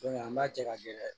an b'a cɛ ka di dɛ